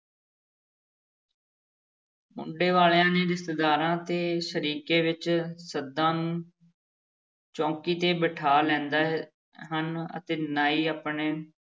ਮੁੰਡੇ ਵਾਲਿਆਂ ਨੇ ਰਿਸ਼ਤੇਦਾਰਾਂ ਅਤੇ ਸ਼ਰੀਕੇ ਵਿੱਚ ਸੱਦਾ ਨੂੰ ਚੌਂਕੀ ਤੇ ਬਿਠਾ ਲੈਂਦੇ ਹਨ ਅਤੇ ਨਾਈ ਆਪਣੇ